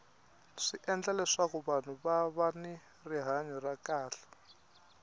swi endla leswaku vahnu va va ni rihanya ra kahle